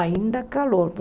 Ainda calor.